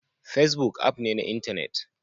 Facebook app ne na intanet